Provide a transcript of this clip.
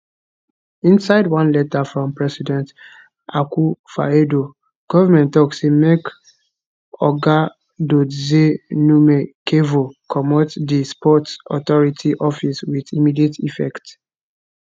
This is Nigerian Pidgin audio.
inside one letter from president akufoaddo goment tok say make oga dodzie numekevor comot di sports authority office wit immediate effect